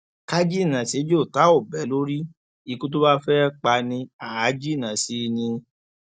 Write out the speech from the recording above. ká jìnnà séjò tá ò bẹ lórí ikú tó bá fẹẹ pa ni àá jìnnà sí i ni